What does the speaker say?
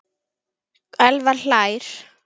Elvar hlær.